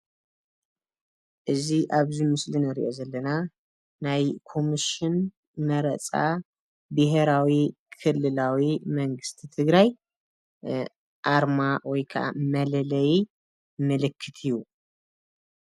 እዚ ኣብዚ ምስሊ እንሪኦ ዘለና ናይ ኮሚሽን መረፃ ብሄራዊ ክልላዊ መንግስቲ ትግራይ ኣርማ ወይ ክዓ መለለዪ ምልክት እዩ።